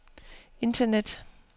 internet